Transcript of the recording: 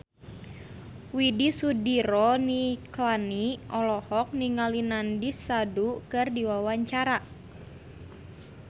Widy Soediro Nichlany olohok ningali Nandish Sandhu keur diwawancara